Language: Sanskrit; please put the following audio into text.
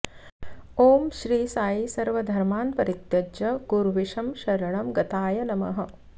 ॐ श्री साई सर्वधर्मान् परित्यज्य गुर्विशं शरणं गताय नमः